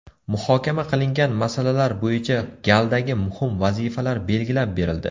Muhokama qilingan masalalar bo‘yicha galdagi muhim vazifalar belgilab berildi.